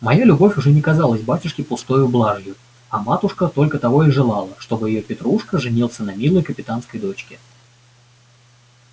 моя любовь уже не казалась батюшке пустою блажью а матушка только того и желала чтоб её петруша женился на милой капитанской дочке